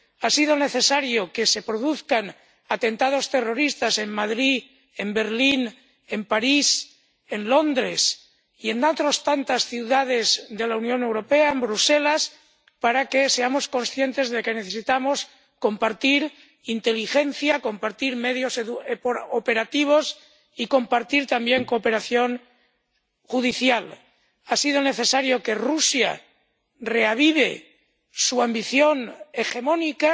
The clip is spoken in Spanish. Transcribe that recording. Ha sido necesario que se produzcan atentados terroristas en Madrid, en Berlín, en París, en Londres y en otras tantas ciudades de la Unión Europea, en Bruselas, para que seamos conscientes de que necesitamos compartir inteligencia, compartir medios operativos y compartir, también, cooperación judicial. Ha sido necesario que Rusia reavive su ambición hegemónica